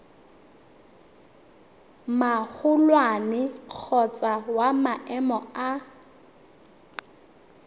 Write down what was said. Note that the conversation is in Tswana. magolwane kgotsa wa maemo a